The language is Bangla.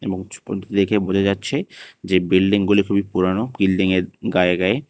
এবং দেখে বোঝা যাচ্ছে যে বিল্ডিংগুলি খুবই পুরানো বিল্ডিংয়ের গায়ে গায়ে।